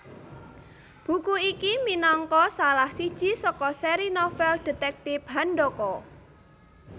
Buku iki minangka salah siji saka sèri novel detektip Handaka